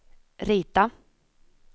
rita